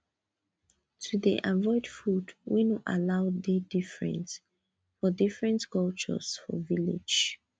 to dey avoid food wey no allow dey different for different cultures for village